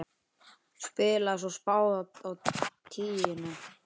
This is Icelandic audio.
Spilaði svo spaða á tíuna!